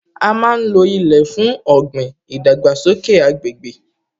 A má ń lo ilẹ̀ fún ọ̀gbìn, ìdàgbàsókè agbègbè